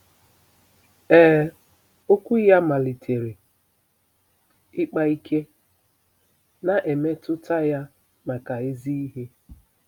Ee, Okwu ya malitere ịkpa ike, na-emetụta ya maka ezi ihe!